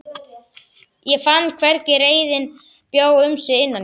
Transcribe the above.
Ég fann hvernig reiðin bjó um sig innan í mér.